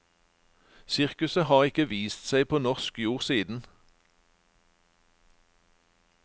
Sirkuset har ikke vist seg på norsk jord siden.